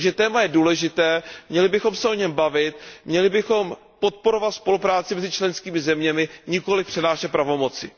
Takže téma je důležité, měli bychom se o něm bavit, měli bychom podporovat spolupráci mezi členskými zeměmi, nikoliv přenášet pravomoci.